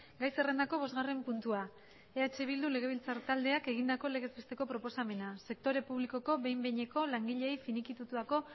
gai zerrendako bosgarren puntua eh bildu legebiltzar taldeak egindako legez besteko proposamena sektore publikoko behin behineko langileei finikitatutako